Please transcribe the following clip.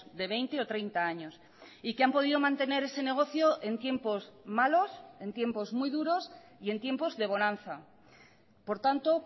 de veinte o treinta años y que han podido mantener ese negocio en tiempos malos en tiempos muy duros y en tiempos de bonanza por tanto